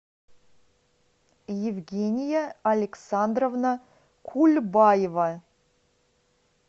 евгения александровна кульбаева